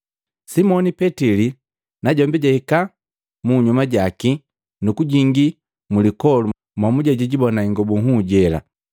Simoni Petili najombi jahika munyuma jaki nu kujingii mlipoli momuje jikibona ingobu nhuu jela.